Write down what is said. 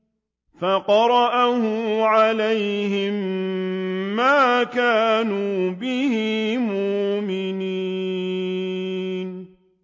فَقَرَأَهُ عَلَيْهِم مَّا كَانُوا بِهِ مُؤْمِنِينَ